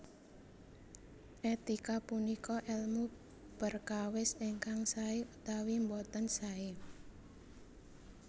Etika punika èlmu perkawis ingkang saé utawi boten saé